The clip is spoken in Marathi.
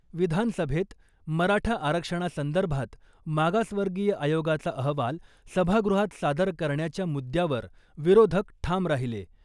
विधानसभेत मराठा आरक्षणासंदर्भात मागासवर्गीय आयोगाचा अहवाल सभागृहात सादर करण्याच्या मुद्द्यावर विरोधक ठाम राहिले .